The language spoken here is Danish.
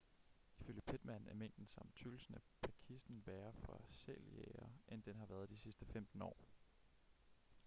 ifølge pittman er mængden samt tykkelsen af pakisen værre for sæljægere end den har været de sidste 15 år